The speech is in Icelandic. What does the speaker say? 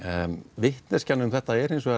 vitneskjan um þetta er